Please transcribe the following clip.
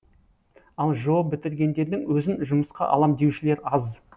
ал жоо бітіргендердің өзін жұмысқа алам деушілер аз